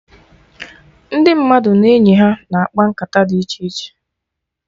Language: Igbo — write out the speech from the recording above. Ndị mmadụ na enyi ha na-akpa nkata dị iche iche